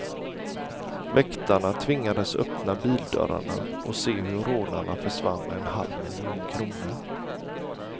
Väktarna tvingades öppna bildörrarna och se hur rånarna försvann med en halv miljon kronor.